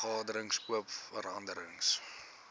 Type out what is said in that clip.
vergaderings oop vergaderings